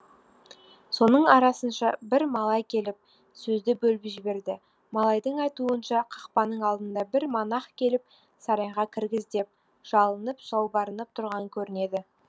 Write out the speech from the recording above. соның арасынша бір малай келіп сөзді бөліп жіберді малайдың айтуынша қақпаның алдына бір монах келіп сарайға кіргіз деп жалынып жалбарынып тұрған көрінеді